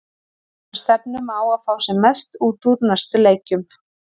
Við bara stefnum á að fá sem mest út úr næstu leikjum.